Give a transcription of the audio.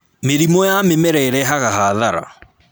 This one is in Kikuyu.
Mĩrimũ ya mĩmera ĩrehaga hathara